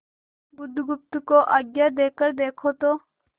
बुधगुप्त को आज्ञा देकर देखो तो